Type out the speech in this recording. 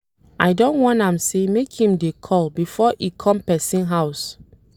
I don warn am sey make im dey call before e come pesin house.